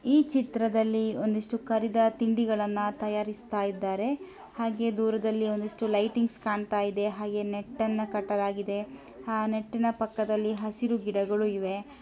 ಈ ಚಿತ್ರದಲ್ಲಿ ಒಂದಿಷ್ಟು ಕರಿದ ತಿಂಡಿಗಳನ್ನ ತಯಾರಿಸ್ತಾ ಇದ್ದಾರೆ ಹಾಗೆ ದೂರದಲ್ಲಿ ಒಂದಿಷ್ಟು ಲೈಟಿಂಗ್ಸ್ ಕಾಣ್ತಾ ಇದೆ ಹಾಗೇ ನೆಟ್ ಅನ್ನ ಕಟ್ಟಲಾಗಿದೆ ಹಾ ನೆಟ್ಟಿನ ಪಕ್ಕದಲ್ಲಿ ಹಸಿರು ಗಿಡಗಳು ಇವೆ.